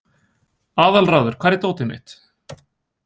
Aðalráður, hvar er dótið mitt?